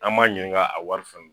An m'a ɲininka a wari fɛnɛ